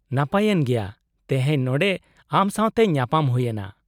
-ᱱᱟᱯᱟᱭᱮᱱ ᱜᱮᱭᱟ ᱛᱮᱦᱮᱧ ᱱᱚᱸᱰᱮ ᱟᱢ ᱥᱟᱶᱛᱮ ᱧᱟᱯᱟᱢ ᱦᱩᱭ ᱮᱱᱟ ᱾